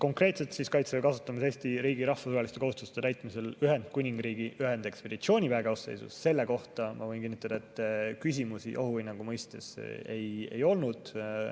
Konkreetselt selle eelnõu "Kaitseväe kasutamine Eesti riigi rahvusvaheliste kohustuste täitmisel Ühendkuningriigi ühendekspeditsiooniväe koosseisus" kohta ma võin kinnitada, et küsimusi ohuhinnangu mõistes ei olnud.